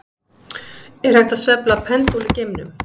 Er hægt að sveifla pendúl í geimnum?